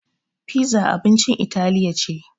Piza abincin italiya ce.